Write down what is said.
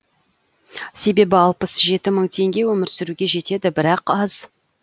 себебі алпыс жеті мың теңге өмір сүруге жетеді бірақ аз